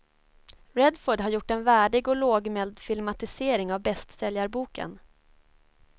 Redford har gjort en värdig och lågmäld filmatisering av bästsäljarboken.